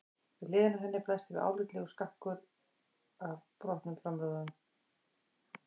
Við hliðina á henni blasti við álitlegur stakkur af brotnum framrúðum.